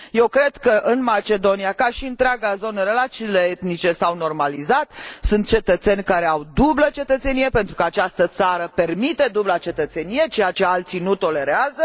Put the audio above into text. Eu cred că în Macedonia, ca și în întreaga zonă, relațiile etnice s au normalizat, sunt cetățeni care au dublă cetățenie, pentru că această țară permite dubla cetățenie, ceea ce alții nu tolerează.